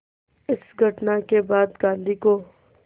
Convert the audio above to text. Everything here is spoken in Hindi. इस घटना के बाद गांधी को